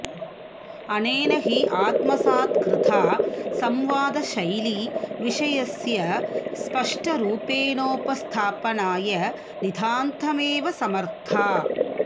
अनेन हि आत्मसात्कृता संवादशैली विषयस्य स्पष्टरूपेणोपस्थापनाय नितान्तमेव समर्था